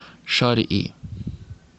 шарьи